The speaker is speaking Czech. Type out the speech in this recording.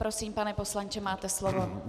Prosím, pane poslanče, máte slovo.